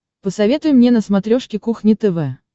посоветуй мне на смотрешке кухня тв